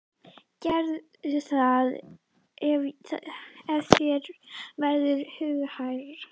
Gerðu það ef þér verður hughægra.